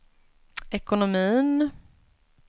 ekonomin